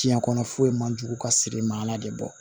Diɲɛ kɔnɔ foyi man jugu ka siri i ma ala de bɔ